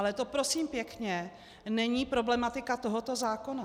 Ale to prosím pěkně není problematika tohoto zákona.